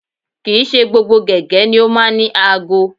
Kì í ṣe gbogbo gẹ̀gẹ́ ni ó máa ń ní aago